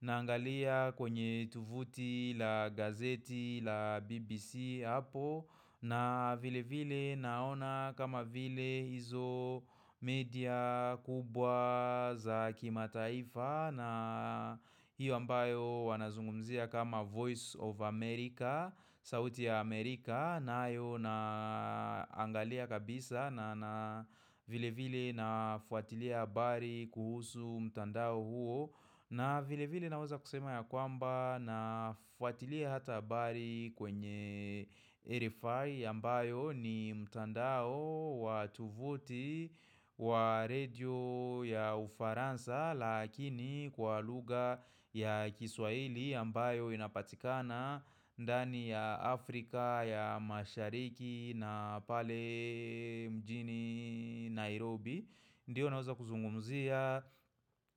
na angalia kwenye tuvuti la gazeti la BBC hapo na vile vile naona kama vile hizo media kubwa za kimataaifa na hiyo ambayo wanazungumzia kama Voice of America, sauti ya Amerika nayo naangalia kabisa na vile vile nafuatilia habari kuhusu mtandao huo. Na vile vile naweza kusema ya kwamba na fuatilia hata habari kwenye RFI yambayo ni mtandao wa tuvuti wa radio ya ufaransa Lakini kwa lugha ya kiswaili ambayo inapatikana ndani ya Afrika ya mashariki na pale mjini Nairobi Ndio naweza kuzungumzia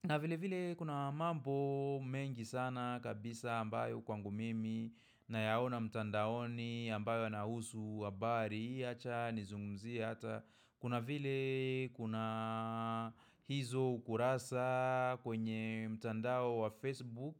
na vile vile kuna mambo mengi sana kabisa ambayo kwangu mimi na yaona mtandaoni ambayo yanahusu habari acha nizungumzie hata. Kuna vile kuna hizo ukurasa kwenye mtandao wa Facebook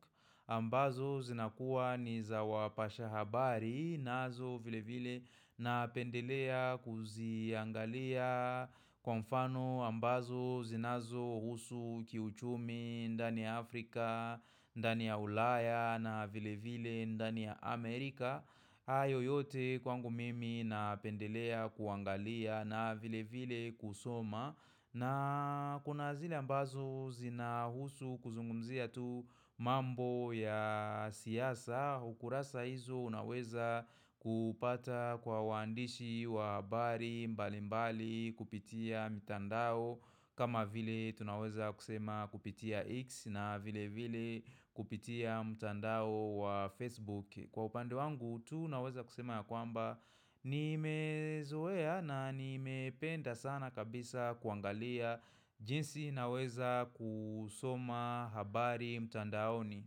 ambazo zinakuwa ni za wapasha habari nazo vile vile napendelea kuziangalia kwa mfano ambazo zinazo husu kiuchumi ndani ya Afrika ndani ya ulaya na vile vile ndani ya Amerika hayo yote kwangu mimi napendelea kuangalia na vile vile kusoma na kuna zile ambazo zina husu kuzungumzia tu mambo ya siasa ukurasa hizo unaweza kupata kwa wandishi wa habari mbali mbali kupitia mitandao kama vile tunaweza kusema kupitia X na vile vile kupitia mitandao wa Facebook. Kwa upande wangu tu naweza kusema ya kwamba ni mezoea na ni mependa sana kabisa kuangalia jinsi naweza kusoma habari mtandaoni.